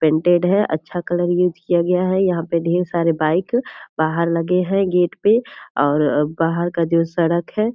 painted है अच्छा colour use किया गया है यहाँ पे ढ़ेर सारे बाइक बाहर लगे हैं गेट पे और बाहर का जो सड़क है --